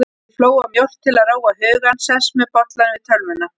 Ég flóa mjólk til að róa hugann, sest með bollann við tölvuna.